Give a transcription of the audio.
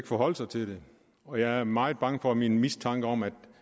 forholde sig til det og jeg er meget bange for at min mistanke om at